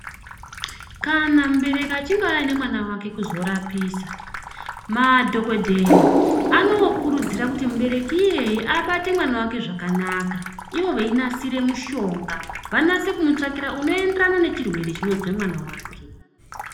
Kana mubereki achinge auya nemwana wake kuzorapisa madhokodheya anokurudzira kuti mubereki iyeye abate mwana wake zvakanaka ivo veinasira mishonga vanase kumutsvakira unoenderana nechirwere chinozwa mwana wake.